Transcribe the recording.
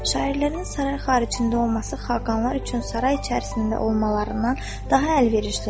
Şairlərin saray xaricində olması xaqanlar üçün saray içərisində olmalarından daha əlverişlidir.